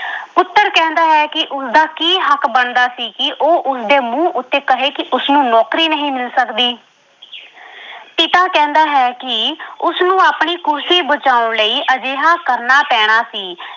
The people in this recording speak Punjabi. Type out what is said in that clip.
ਪੁੱਤਰ ਕਹਿੰਦਾ ਹੈ ਕਿ ਉਸਦਾ ਕੀ ਹੱਕ ਬਣਦਾ ਸੀ ਕਿ ਉਹ ਉਸਦੇ ਮੂੰਹ ਉੱਤੇ ਕਹੇ ਕਿ ਉਸਨੂੰ ਨੌਕਰੀ ਨਹੀਂ ਮਿਲ ਸਕਦੀ ਪਿਤਾ ਕਹਿੰਦਾ ਹੈ ਕਿ ਉਸਨੂੰ ਆਪਣੀ ਕੁਰਸੀ ਬਚਾਉਣ ਲਈ ਅਜਿਹਾ ਕਰਨਾ ਪੈਣਾ ਸੀ।